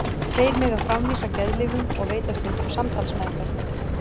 Þeir mega framvísa geðlyfjum og veita stundum samtalsmeðferð.